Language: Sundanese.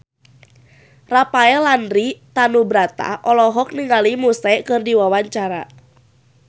Rafael Landry Tanubrata olohok ningali Muse keur diwawancara